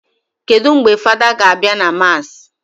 Kedụ mgbe fada ga abịa ka mass?